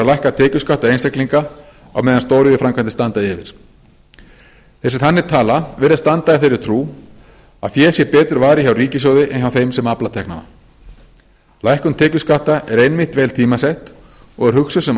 lækka tekjuskatta einstaklinga á meðan stóriðjuframkvæmdir standa yfir þeir sem þannig tala virðast standa í þeirri trú að fé sé betur varið hjá ríkissjóði en hjá þeim sem afla teknanna lækkun tekjuskatta er einmitt vel tímasett og er hugsuð sem